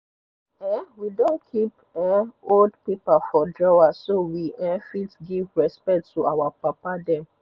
um we don keep um old paper for drawer so we um fit give respect to our papa dem